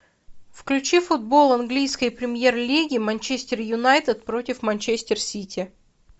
включи футбол английской премьер лиги манчестер юнайтед против манчестер сити